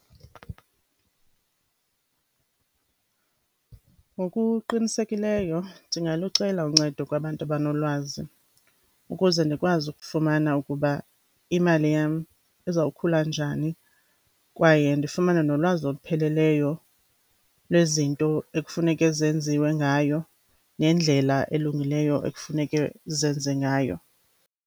Ngokuqinisekileyo ndingalucela uncedo kwabantu abanolwazi ukuze ndikwazi ukufumana ukuba imali yam izawukhula njani, kwaye ndifumane nolwazi olupheleleyo lwezinto ekufuneke zenziwe ngayo, nendlela elungileyo ekufuneke zenze ngayo.